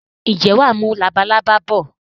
Ǹjẹ́ wàá mú labalábá bọ̀?